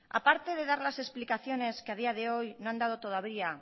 a parte de dar las explicaciones que a día de hoy no han dado todavía